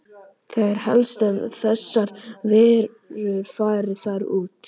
Það er helst að þessar verur fari þar út.